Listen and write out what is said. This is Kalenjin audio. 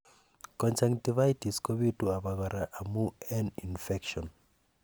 conjunctivitis kobitu abakora amun en infection